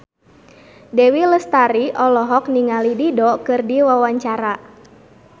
Dewi Lestari olohok ningali Dido keur diwawancara